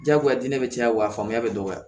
Diyagoya diɲɛ bɛ caya wa faamuya bɛ dɔgɔya